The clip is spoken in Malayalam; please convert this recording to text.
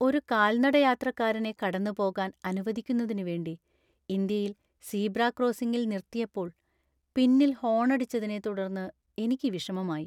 ഒരു കാൽനടയാത്രക്കാരനെ കടന്നുപോകാൻ അനുവദിക്കുന്നതിനുവേണ്ടി ഇന്ത്യയിൽ സീബ്ര ക്രോസിംഗിൽ നിർത്തിയപ്പോള്‍ പിന്നില്‍ ഹോണടിച്ചതിനെ തുടർന്ന് എനിക്ക് വിഷമമായി.